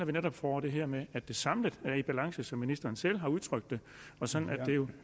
vi netop får det her med at det samlet er i balance som ministeren selv har udtrykt det og sådan at det jo